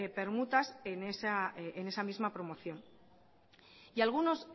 permutas en esa misma promoción y algunos